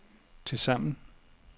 tilsammen